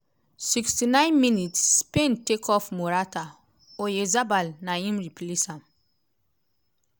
69 mins - spain take off morata oyarzabal na im replace am.